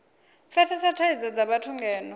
pfesesa thadzo dza vhathu ngeno